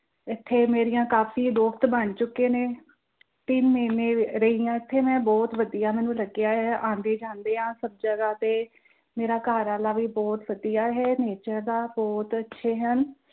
ਇੱਥੇ ਮੇਰੀਆਂ ਕਾਫ਼ੀ ਦੋਸਤ ਬਣ ਚੁੱਕੇ ਨੇ, ਤਿੰਨ ਮਹੀਨੇ ਰਹੀ ਆ ਮੈਂ ਇੱਥੇ ਬਹੁਤ ਵਧੀਆ ਮੈਂਨੂੰ ਲੱਗਿਆ ਆ ਆਂਦੇ ਜਾਂਦੇ ਆ ਸਭ ਜਗ੍ਹਾ ਤੇ ਮੇਰੇ ਘਰਵਾਲਾ ਵਾਲਾ ਵੀ ਬਹੁਤ ਵਧੀਆ ਹੈ nature ਦਾ